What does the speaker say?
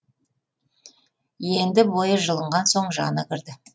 енді бойы жылынған соң жаны кірді